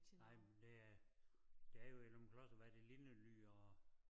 Nej men der er der er jo i Løgumkloster hvad er det Lindely og